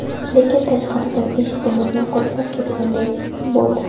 Lekin tashqaridan eshigimizni qulflab ketganday bo‘ldi.